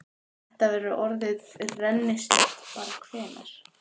Þetta verður orðið rennislétt bara hvenær?